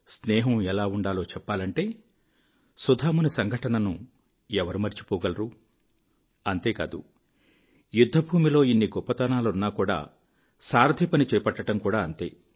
స్నేహం ఎలా ఉండాలో చెప్పాలంటే సుదాముని సంఘటనను ఎవరు మరిచిపోగలరు అంతేకాదు యుద్ధభూమిలో ఇన్ని గొప్పతనాలున్నా కూడా సారథి పని చేపట్టడం కూడా అంతే